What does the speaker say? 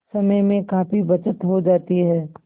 समय में काफी बचत हो जाती है